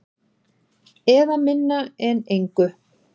Eða minna en engu.